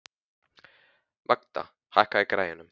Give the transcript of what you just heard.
Magda, hækkaðu í græjunum.